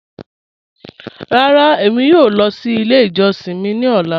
Rárá, èmi yòò lọ sí ilẹ̀ ìjọ̀ṣin mi ni ọ̀lá.